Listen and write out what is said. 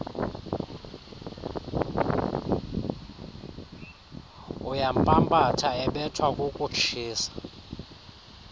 uyampampatha ebethwa kukutshisa